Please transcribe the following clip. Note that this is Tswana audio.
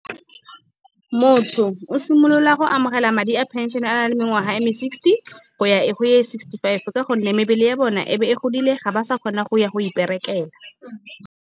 Motho o simolola go amogela madi a pension a na le mengwaga e me sixty go ya ko go ya sixty five. Ka gonne mebele ya bona e be e godile ga ba sa kgona go ya go iperekela.